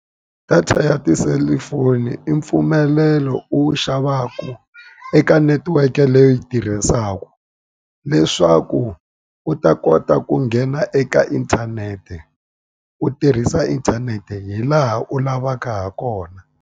Data ya tiselifoni i mpfumelelo u wu xavaka eka netiweke leyi u yi tirhisaka. Leswaku u ta kota ku nghena eka inthanete, u tirhisa inthanete hi laha u lavaka ha kona.